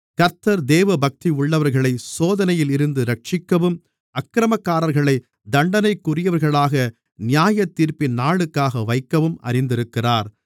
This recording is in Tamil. கர்த்தர் தேவபக்தியுள்ளவர்களைச் சோதனையில் இருந்து இரட்சிக்கவும் அக்கிரமக்காரர்களை தண்டனைக்குரியவர்களாக நியாயத்தீர்ப்பின் நாளுக்காக வைக்கவும் அறிந்திருக்கிறார்